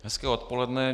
Hezké odpoledne.